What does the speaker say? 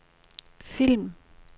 film